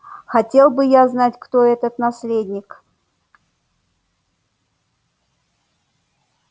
хотел бы я знать кто этот наследник